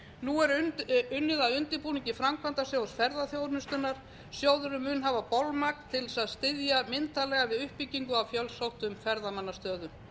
nú er unnið að undirbúningi framkvæmdasjóðs ferðaþjónustunnar sjóðurinn mun hafa bolmagn til að styðja myndarlega við uppbyggingu á fjölsóttum ferðamannastöðum